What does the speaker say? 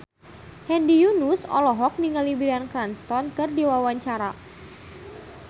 Hedi Yunus olohok ningali Bryan Cranston keur diwawancara